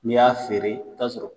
N'i y'a feere i bɛ t'a sɔrɔ